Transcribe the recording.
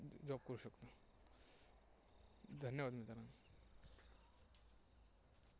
धन्यवाद मित्रांनो.